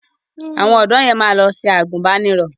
Àwọn ọ̀dọ̀ yẹn máa lọ ṣe àgùnbánirọ̀.